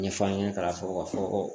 Ɲɛfɔ an ɲɛna ka fɔ ka fɔ ko